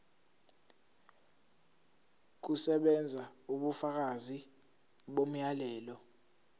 kusebenza ubufakazi bomyalelo